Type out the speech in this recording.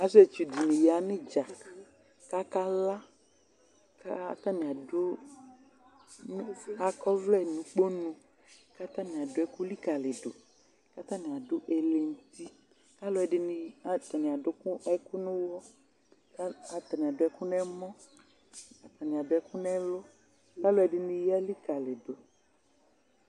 asietsʋ dini ya nʋ idza kakala adʋ akɔvlɛ nʋ ʋkponʋ katani adʋ ɛkʋlikalidʋ katani adʋ ɛlʋ nʋti ɛdini atani adʋ ɛkʋ nʋ ʋwɔ ka atani adʋ ɛkʋ nʋ ɛmɔ atani adʋ ɛkʋ nɛlʋ ɔlʋɛdini ya likali ma dʋ